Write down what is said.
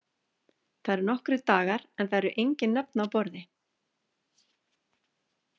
Það eru nokkrir dagar en það eru engin nöfn á borði.